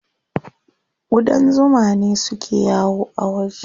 Ƙudan zuma ne suke yawo a waje.